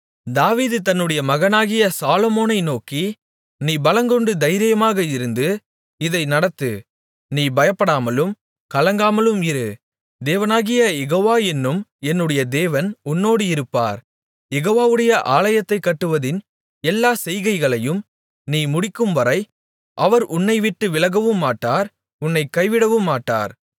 தாவீது தன்னுடைய மகனாகிய சாலொமோனை நோக்கி நீ பலங்கொண்டு தைரியமாக இருந்து இதை நடத்து நீ பயப்படாமலும் கலங்காமலும் இரு தேவனாகிய யெகோவா என்னும் என்னுடைய தேவன் உன்னோடு இருப்பார் யெகோவாவுடைய ஆலயத்தைக் கட்டுவதின் எல்லா செய்கைகளையும் நீ முடிக்கும்வரை அவர் உன்னைவிட்டு விலகவுமாட்டார் உன்னைக் கைவிடவுமாட்டார்